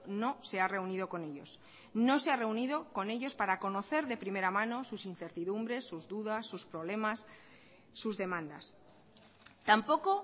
no se ha reunido con ellos no se ha reunido con ellos para conocer de primera mano sus incertidumbres sus dudas sus problemas sus demandas tampoco